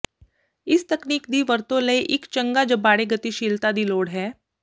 ਇਸ ਤਕਨੀਕ ਦੀ ਵਰਤੋ ਲਈ ਇੱਕ ਚੰਗਾ ਜਬਾੜੇ ਗਤੀਸ਼ੀਲਤਾ ਦੀ ਲੋੜ ਹੈ